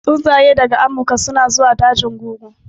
Tsuntsaye daga amurka suna zuwa dajin guru